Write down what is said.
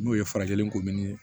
N'o ye farajɛlen ko min ye